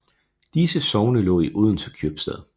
Disse sogne lå i Odense Købstad